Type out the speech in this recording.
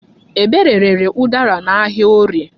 Ebere rere ụdara n'ahịa Orie.